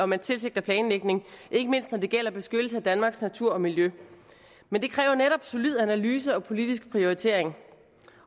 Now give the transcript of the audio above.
man tilsigter planlægning ikke mindst når det gælder beskyttelse af danmarks natur og miljø men det kræver netop solid analyse og politisk prioritering